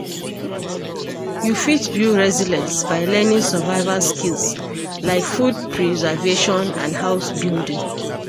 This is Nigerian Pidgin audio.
You fit build resilience by learning survival skills like food preservation and house building.